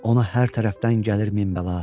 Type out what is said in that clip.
Ona hər tərəfdən gəlir min bəla.